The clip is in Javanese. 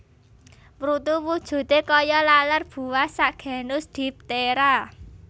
Mrutu wujute kaya laler buah sak genus diptera